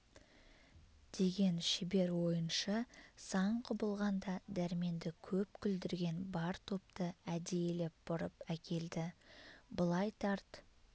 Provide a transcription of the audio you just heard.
деген шебер ойыншы сан құбылған да дәрменді көп күлдірген бар топты әдейілеп бұрып әкелді былай тарт